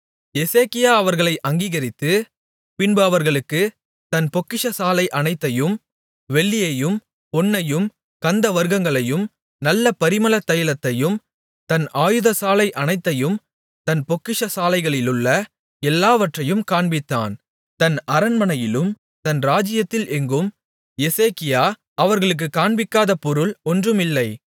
எசேக்கியா அவர்களை அங்கீகரித்து பின்பு அவர்களுக்குத் தன் பொக்கிஷசாலை அனைத்தையும் வெள்ளியையும் பொன்னையும் கந்தவர்க்கங்களையும் நல்ல பரிமளதைலத்தையும் தன் ஆயுதசாலை அனைத்தையும் தன் பொக்கிஷசாலைகளிலுள்ள எல்லாவற்றையும் காண்பித்தான் தன் அரண்மனையிலும் தன் ராஜ்ஜியத்தில் எங்கும் எசேக்கியா அவர்களுக்குக் காண்பிக்காத பொருள் ஒன்றும் இல்லை